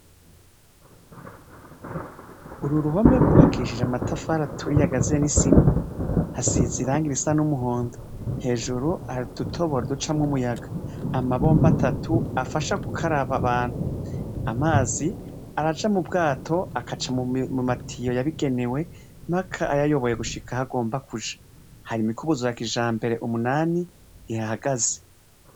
Ururuhome gubakishije amatafari aturiye agasuze nisima hasize irangi risa numuhondo hejuru hari udutoboro ducamwo umuyaga amabombo atatu afasha gukaraba abantu amazi araca mubwato agaca mumatiyo yabigenewe mpaka ayoboye gushika iyagomba kuja hari imikubuzo yakijambere umunani ihahagaze